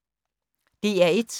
DR1